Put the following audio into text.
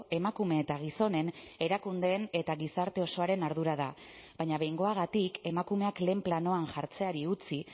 emakume eta gizonen erakundeen eta gizarte osoaren ardura da baina behingoagatik emakumeak lehen planoan jartzeari utzi